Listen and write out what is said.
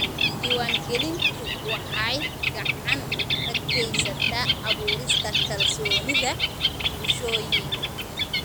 Diiwaangelintu waxay gacan ka geysataa abuurista kalsoonida bulshooyinka.